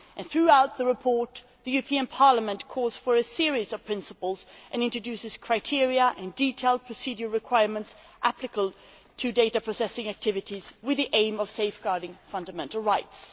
Throughout the report, Parliament calls for a series of principles and introduces criteria and detailed procedure requirements applicable to data processing activities with the aim of safeguarding fundamental rights.